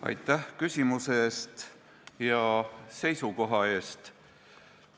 Aitäh küsimuse eest ja seisukoha eest!